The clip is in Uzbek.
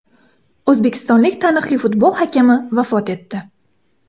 O‘zbekistonlik taniqli futbol hakami vafot etdi.